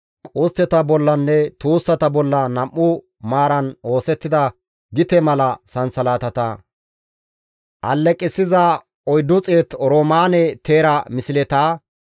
qustteta bollanne tuussata bolla nam7u maaran oosettida gite mala sansalatata, alleqissiza 400 oroomaane teera misleta,